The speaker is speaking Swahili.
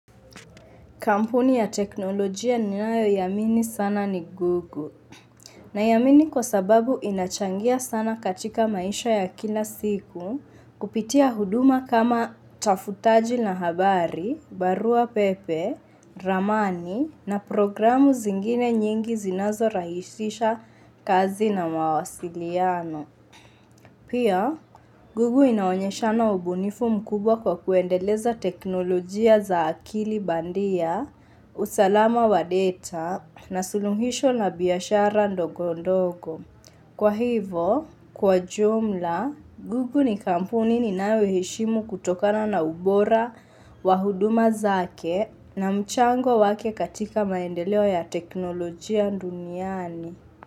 Kampuni ya teknolojia ninayoiamini sana ni Gugu. Naiamini kwa sababu inachangia sana katika maisha ya kila siku kupitia huduma kama tafutaji na habari, barua pepe, ramani na programu zingine nyingi zinazorahisisha kazi na mawasiliano. Pia, gugu inaonyeshana ubunifu mkubwa kwa kuendeleza teknolojia za akili bandia, usalama wa data, na suluhisho la biashara ndogo ndogo. Kwa hivo, kwa jumla, gugu ni kampuni ninayoishimu kutokana na ubora wa huduma zake na mchango wake katika maendeleo ya teknolojia duniani.